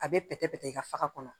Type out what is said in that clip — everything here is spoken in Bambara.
A bɛ pɛtɛ pɛtɛ i ka faga kɔnɔ